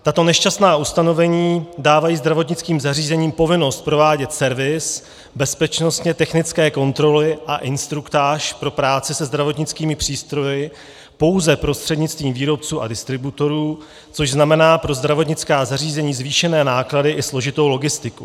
Tato nešťastná ustanovení dávají zdravotnickým zařízením povinnost provádět servis, bezpečnostně technické kontroly a instruktáž pro práce se zdravotnickými přístroji pouze prostřednictvím výrobců a distributorů, což znamená pro zdravotnická zařízení zvýšené náklady i složitou logistiku.